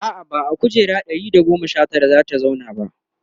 a'a ba a kujera na Ɗari da goma Sha Tara zata zauna ba